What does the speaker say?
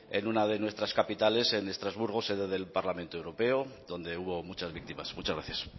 en una de nuestras capitales en estrasburgo sede del parlamento europeo donde hubo muchas víctimas muchas gracias